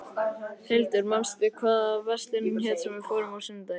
Hildur, manstu hvað verslunin hét sem við fórum í á sunnudaginn?